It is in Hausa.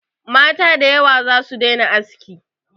Mata da yawa za su daina aski.